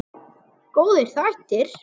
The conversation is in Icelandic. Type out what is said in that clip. Góðir þættir.